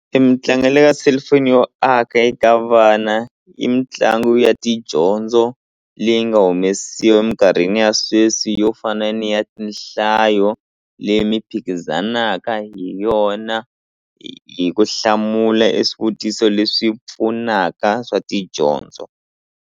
E mitlangu ya le ka cellphone yo aka eka vana i mitlangu ya tidyondzo leyi nga humesiwa eminkarhini ya sweswi yo fana ni ya tinhlayo leyi mi phikizanaka hi yona hi ku hlamula e swivutiso leswi pfunaka swa tidyondzo.